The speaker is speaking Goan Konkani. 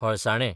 हळसाणे